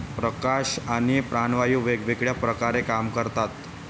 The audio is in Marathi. प्रकाश आणि प्राणवायू वेगवेगळ्या प्रकारे काम करतात.